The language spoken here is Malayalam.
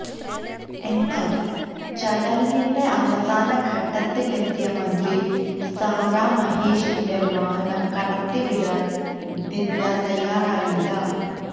എന്നാല് ചടങ്ങിന്റെ അവസാന ഘട്ടത്തിലെത്തിയ മന്ത്രി സാ രാ മഹേഷിന്റെ വാഹനം കടത്തി വിടാന് ദിവ്യ തയ്യാറായില്ല